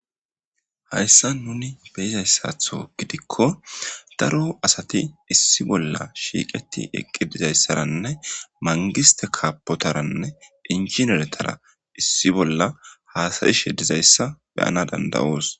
Hayssa nuni beyizayssatho gidikko daro asati issi bolla shiiqeti eqqi dizayssaranne mangiste kaapotaranne dincineretara issi bolla haasayishe dizayssa beyana danda'oos.